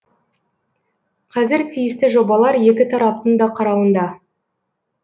қазір тиісті жобалар екі тараптың да қарауында